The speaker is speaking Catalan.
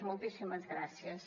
moltíssimes gràcies